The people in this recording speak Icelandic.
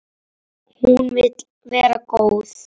Hún vill vera góð.